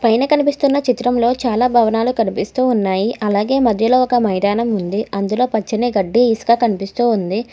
పైన కనిపిస్తున్న చిత్రంలో చాలా భవనాలు కనిపిస్తూ ఉన్నాయి అలాగే మధ్యలో ఒక మైదానం ఉంది అందులో పచ్చని గడ్డి ఇసుక కనిపిస్తూ ఉంది.